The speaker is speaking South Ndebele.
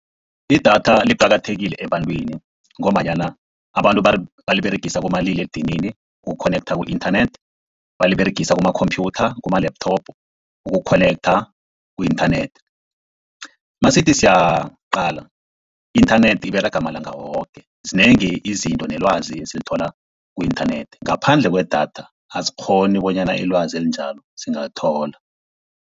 Idatha liqakathekile ebantwini, ngombanyana abantu baliberegisa kumaliledinini uku-connector ku-internet, baliberegisa kuma-computer, kuma-laptop uku-connector ku-internet. Nasithi siyaqala i-internet iberega malanga woke, zinengi izinto nelwazi esilithola ku-internet. Ngaphandle kwedatha asikghoni bonyana ilwazi elinjalo singalithola.